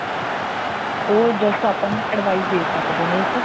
ਉਹ just ਆਪਾਂ ਨੂੰ ਇੱਕ advice ਦੇਖ ਸਕਦੇ ਨੇ ਇੱਕ